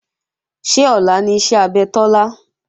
Ṣé ọ̀la ni iṣẹ́ abẹ Tọ́lá?